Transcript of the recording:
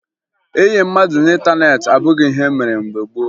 Ịyị mmadụ n'ịntaneetị abụghị ihe e mere mgbe gboo